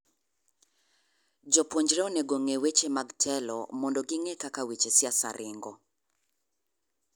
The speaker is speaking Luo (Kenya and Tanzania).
Jopuonjre onego ong'e weche mag telo mondo gi ng'e kaka weche siasa ring'o.